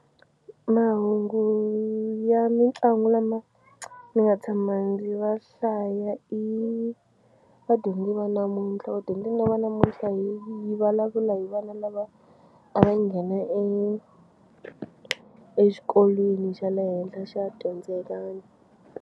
Mahungu ya mitlangu lama ni nga tshama ndzi va hlaya i Vadyondzi Va Namuntlha Vadyondzi Va Namuntlha hi yi vulavula hi vana lava a va nghena exikolweni xa le henhla xa .